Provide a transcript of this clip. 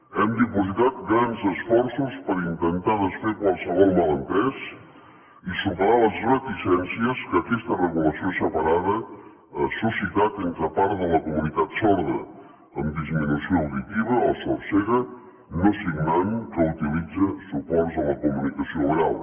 hem dipositat grans esforços per intentar desfer qualsevol malentès i superar les reticències que aquesta regulació separada ha suscitat entre part de la comunitat sorda amb disminució auditiva o sordcega no signant que utilitza suports a la comunicació oral